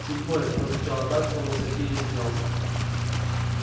седьмой прозвучало так словно сергей извинялся